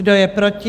Kdo je proti?